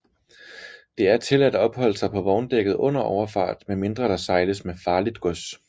Det er tilladt at opholde sig på vogndækket under overfart medmindre der sejles med farligt gods